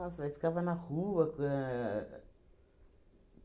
aí ficava na rua quan